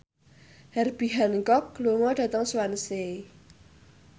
Herbie Hancock lunga dhateng Swansea